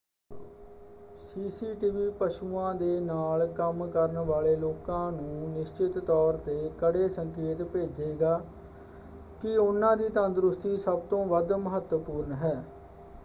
"CCTV ਪਸ਼ੂਆਂ ਦੇ ਨਾਲ ਕੰਮ ਕਰਨ ਵਾਲੇ ਲੋਕਾਂ ਨੂੰ ਨਿਸ਼ਚਤ ਤੌਰ 'ਤੇ ਕੜੇ ਸੰਕੇਤ ਭੇਜੇਗਾ ਕਿ ਉਨ੍ਹਾਂ ਦੀ ਤੰਦਰੁਸਤੀ ਸਭ ਤੋਂ ਵੱਧ ਮਹੱਤਵਪੂਰਣ ਹੈ।